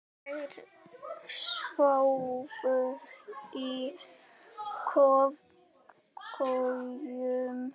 Þær sváfu í kojum.